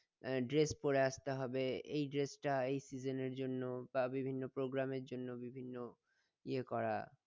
আহ dress পরে আসতে হবে এই dress টা এই session এর জন্য বা বিভিন্ন program এর জন্য বা বিভিন্ন ইয়ে করা